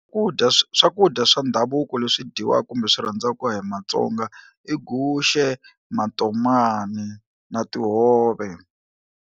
Ku dya swakudya swa ndhavuko leswi dyiwaka kumbe swi rhandzaka hi Matsonga i guxe, matomani na tihove.